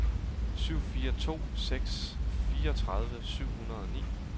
syv fire to seks fireogtredive syv hundrede og ni